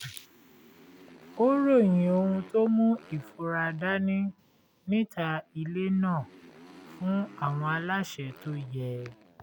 ó ròyìn ohun tó mú ìfura dání níta ilé náà fún àwọn aláṣẹ tó yẹ